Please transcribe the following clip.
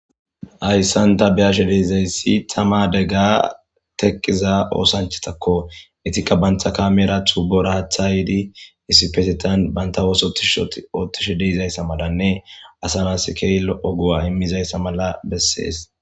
hayssan ta beyashe deizayssi tama degga tekiza oosanchatakko etikka bantha kamera tuubora haathaydi isipesetan banta oososhoottishe deizayssa malanne asa naskeylo oguwa immizayssa mala bessees